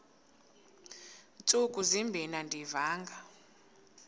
ntsuku zimbin andiyivanga